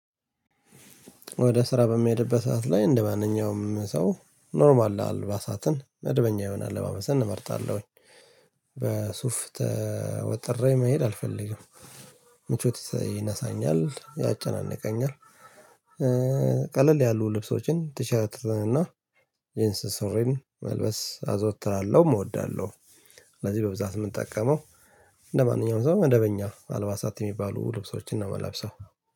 ወደ ስራ በሚሄድበት ሰዓት ላይ እንደማንኛውም ሰው ኖርማል አልባሳትን መደበኛ የሆነ አለባሳትን እመርጣለሁኝ። በሱፍ ተወጥሬ መሄድ አልፈልግም። ምቾት ይነሳኛል ያጨናንቀኛል። ቀለል ያሉ ልብሶችን ቲሸርት እና ጅንስ ሱሪ መልበስ አዘወትራለሁ እወዳለሁ። ስለዚህ በብዛት የምንጠቀመው ለማንኛውም ሰው መደበኛ አልባሳት የሚባሉ ልብሶችን ነው የምለብሰው።